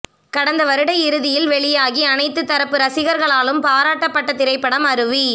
கடந்த வருட இறுதியில் வெளியாகி அனைத்துத் தரப்பு ரசிகர்களாலும் பாராட்டப்பட்ட திரைப்படம் அருவி